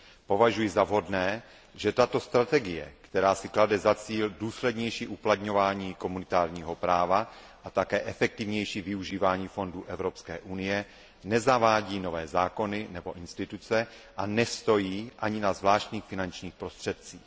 Považuji za vhodné, že tato strategie, která si klade za cíl důslednější uplatňování komunitárního práva a také efektivnější využívání fondů Evropské unie, nezavádí nové zákony nebo instituce a nestojí ani na zvláštních finančních prostředcích.